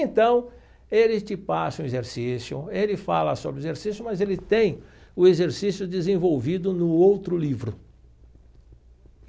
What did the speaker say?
Então, ele te passa um exercício, ele fala sobre o exercício, mas ele tem o exercício desenvolvido no outro livro.